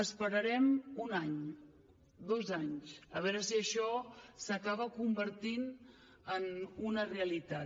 esperarem un any dos anys a veure si això s’acaba convertint en una realitat